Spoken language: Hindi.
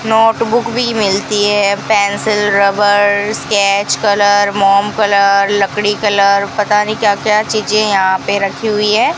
नोटबुक भी मिलती है पेंसिल रबर स्केच कलर मोम कलर लकड़ी कलर पता नहीं क्या क्या चीजें यहां पे रखी हुई है।